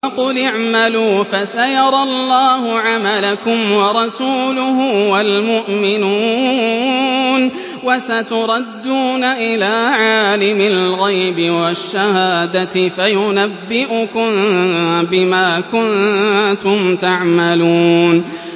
وَقُلِ اعْمَلُوا فَسَيَرَى اللَّهُ عَمَلَكُمْ وَرَسُولُهُ وَالْمُؤْمِنُونَ ۖ وَسَتُرَدُّونَ إِلَىٰ عَالِمِ الْغَيْبِ وَالشَّهَادَةِ فَيُنَبِّئُكُم بِمَا كُنتُمْ تَعْمَلُونَ